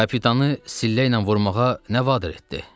Kapitanı sillə ilə vurmağa nə vadar etdi?